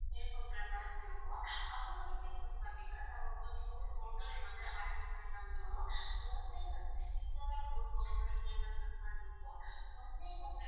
stay பண்ற மாதிரி இருக்கும் அதுவந்து எப்படின்னு வந்து பாத்தீங்கன்னா நாங்க வந்து வந்து arrange பண்ணி தந்துருவோம் one day வந்து இந்த மாதிரி boat house ல stay பண்ற மாதிரி இருக்கும் one day night